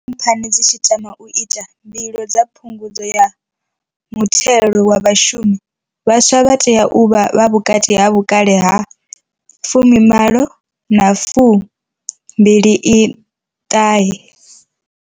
Khamphani dzi tshi tama u ita mbilo dza phungudzo ya muthelo wa vhashumi, vhaswa vha tea u vha vhukati ha vhukale ha 18 na 29.